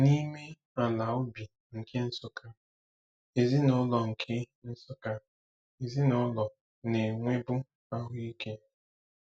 N'ime ala ubi nke Nsukka, ezinaụlọ nke Nsukka, ezinaụlọ na-enwebu ahụ ike.